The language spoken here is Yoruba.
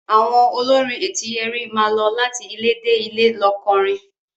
Àwọn olórin Etíyẹrí máa lọ láti ilé dé ilé lọ kọrin.